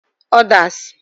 Others